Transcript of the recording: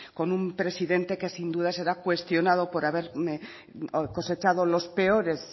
con un presidente que sin duda será cuestionado por haber cosechado los peores